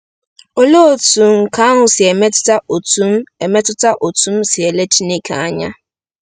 Olee otú nke ahụ si emetụta otú m emetụta otú m si ele Chineke anya? '